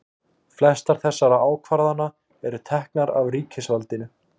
flestar þessara ákvarðana eru teknar af ríkisvaldinu